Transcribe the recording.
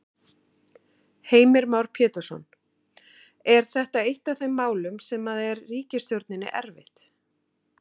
Heimir Már Pétursson: Er þetta eitt af þeim málum sem að er ríkisstjórninni erfitt?